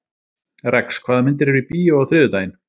Rex, hvaða myndir eru í bíó á þriðjudaginn?